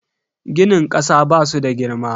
Ginin kasa basu da girma.